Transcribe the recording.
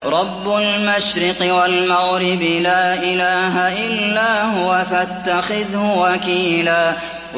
رَّبُّ الْمَشْرِقِ وَالْمَغْرِبِ لَا إِلَٰهَ إِلَّا هُوَ فَاتَّخِذْهُ وَكِيلًا